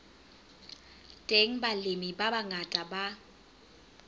teng balemi ba bangata ba